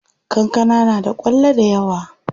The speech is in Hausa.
Kankana na da kwallo dayawa.